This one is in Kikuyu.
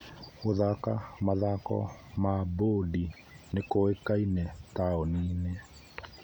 Gũthaka mathako ma bodi nĩ kũĩkaine taũni-inĩ.